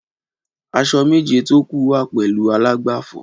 Aṣọ méjé tó kú wà pèlú àlágbáfọ